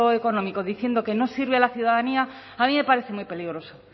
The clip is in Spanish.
económico diciendo que no sirve a la ciudadanía a mí me parece muy peligroso